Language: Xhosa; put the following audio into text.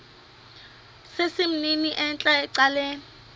sesimnini entla ecaleni